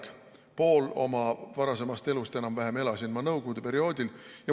Enam-vähem poole oma varasemast elust elasin ma nõukogude perioodil.